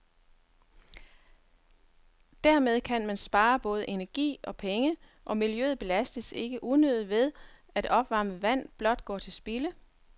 Dermed kan man spare både energi og penge, og miljøet belastes ikke unødigt ved, at opvarmet vand blot går til spilde.